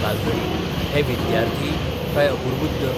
तालगडी हे विद्यार्थी, काय अपुर्बुद्द?